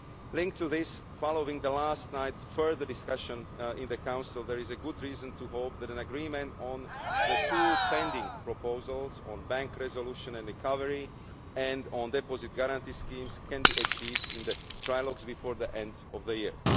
Linked to this, following last night's further discussions in the Council, there is good reason to hope that agreement on the two pending proposals on bank resolution and recovery and on deposit guarantee schemes can be achieved in the trialogues before the end of the year.